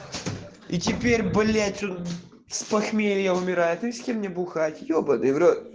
и теперь блять он с похмелья умирает и с кем мне бухать ёбанный в рот